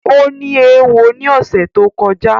O ní éwo ni ọ̀sẹ̀ tó kọjá